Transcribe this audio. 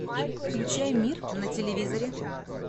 включай мир на телевизоре